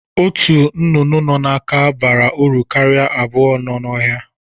Ọtu nnụnụ nọ n'aka bara uru karịa abụọ nọ n'ohia.